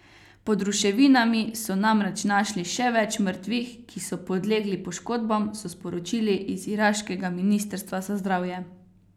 Pod ruševinami so namreč našli še več mrtvih, ki so podlegli poškodbam, so sporočili iz iraškega ministrstva za zdravje.